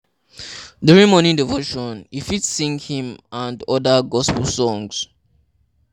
During morning devotion, you fit sing hymn and oda gospel songs